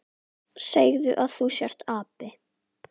Segðu að þú sért api!